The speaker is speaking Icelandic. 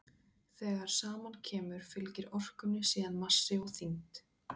þegar saman kemur fylgir orkunni síðan massi og þyngd